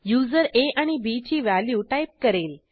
user आ आणि bची व्हॅल्यू टाईप करेल